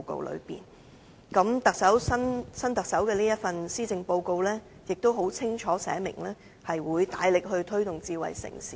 現任特首亦於這份施政報告，清楚寫明會大力推動智慧城市。